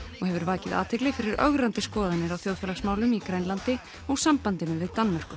og hefur vakið athygli fyrir ögrandi skoðanir á þjóðfélagsmálum í Grænlandi og sambandinu við Danmörku